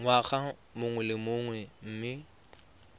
ngwaga mongwe le mongwe mme